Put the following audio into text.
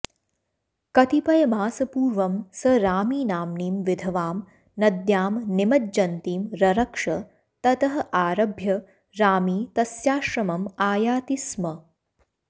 कतिपयमासपूर्वं स रामीनाम्नीं विधवां नद्यां निमज्जन्तीं ररक्ष ततः आरभ्य रामी तस्याश्रमम् आयाति स्म